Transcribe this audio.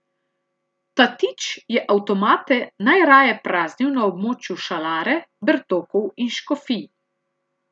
Tatič je avtomate najraje praznil na območju Šalare, Bertokov in Škofij.